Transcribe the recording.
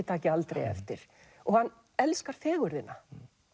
taki aldrei eftir hann elskar fegurðina